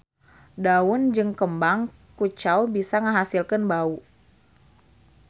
Daun jeung kembang kucau bisa ngahasilkeun bau.